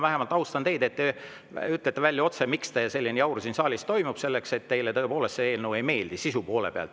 Ma austan teid, et te vähemalt ütlete otse välja, miks selline jaur siin saalis toimub – sest teile tõepoolest see eelnõu sisu poole pealt ei meeldi.